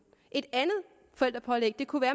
et andet forældrepålæg kunne være